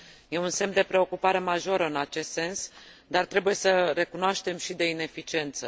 E un semn de preocupare majoră în acest sens, dar, trebuie să recunoaștem, și de ineficiență.